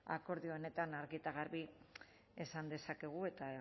akordio honetan argi eta garbi esan dezakegu eta